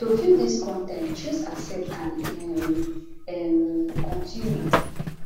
to view dis con ten t choose accept and um um continue